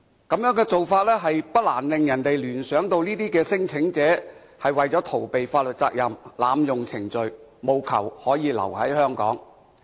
這種做法不難令人聯想到，這些聲請者是為了逃避法律責任，濫用程序，務求可以留在香港。